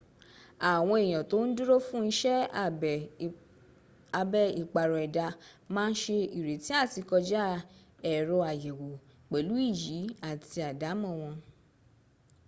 àwọn èèyàn tó ń dúró fún iṣẹ́ abẹ ìpàrọ̀ ẹ̀dá má se retí àti kọjá ẹ̀rọ àyẹ̀wò pẹ̀lú iyì àti àdámọ́ wọn